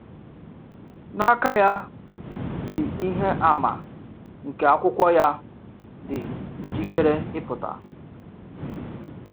N’aka ya dị ihe àmà nke akwụkwọ ya, dị njikere ịpụta.